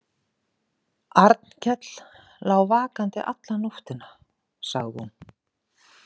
Arnkell lá vakandi alla nóttina, sagði hún.